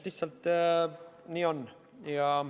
Lihtsalt nii on.